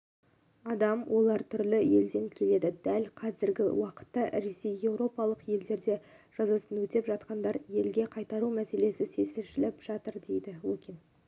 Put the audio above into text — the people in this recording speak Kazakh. адам олар түрлі елден келді дәл қазіргі уақытта ресей еуропалық елдерде жазасын өтеп жатқандарды елге қайтару мәселесі шешіліп жатыр деді лукин